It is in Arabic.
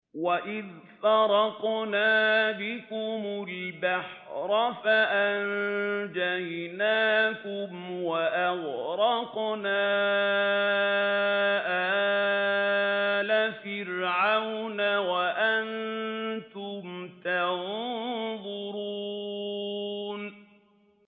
وَإِذْ فَرَقْنَا بِكُمُ الْبَحْرَ فَأَنجَيْنَاكُمْ وَأَغْرَقْنَا آلَ فِرْعَوْنَ وَأَنتُمْ تَنظُرُونَ